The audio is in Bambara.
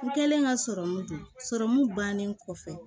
N kɛlen ka sɔrɔmu don sɔrɔmu bannen kɔfɛ